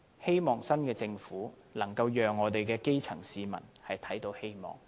希望新的政府能讓我們的基層市民看到希望。